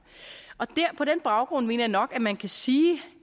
på den baggrund mener jeg nok man kan sige